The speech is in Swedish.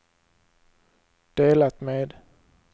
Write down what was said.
delat med